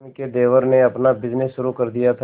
रश्मि के देवर ने अपना बिजनेस शुरू कर दिया था